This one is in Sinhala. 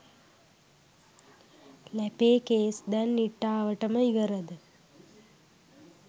ලැපේ කේස් දැන් නිට්ටාවටම ඉවරද.